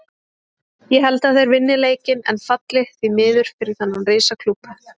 Ég held að þeir vinni leikinn en falli, því miður fyrir þennan risa klúbb.